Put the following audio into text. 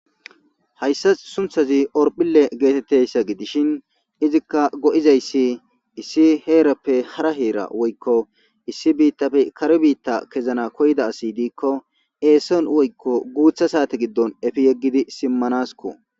Haysas suntazi horpile getetiyaysa gidishin izika go'izaysi issi herape hara hera woyko issi bitape kare bita kezana koyida asi diko eson woyko gutha sate gidon efi yegidi simanasko.